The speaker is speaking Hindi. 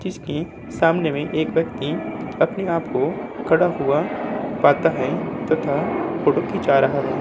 जिसके सामने में एक व्यक्ति अपने आप को खड़ा हुआ पाता है तथा फ़ोटो खींचा रहा है।